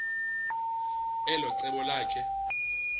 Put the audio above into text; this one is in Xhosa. elo cebo lakhe